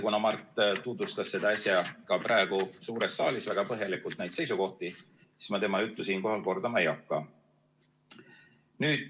Kuna Mart tutvustas äsja ka suures saalis väga põhjalikult neid seisukohti, siis ma tema juttu siinkohal kordama ei hakka.